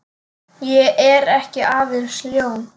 Ég er ekki aðeins ljón.